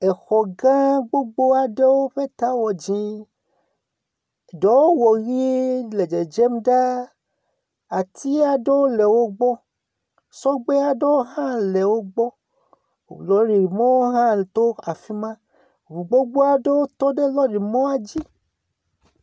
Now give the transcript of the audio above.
Xɔ gã gbogbo aɖewo ƒe ta wɔ dzɛ̃. Ɖewo wɔ ʋie le dzedzem ɖaa. Ati aɖewo le wogbɔ. Sɔgbe aɖewo hã le wogbɔ. Lɔrimɔ hã to afi ma. Ŋu gbogbo aɖewo hã tɔ ɖe lɔrimɔ la dzi.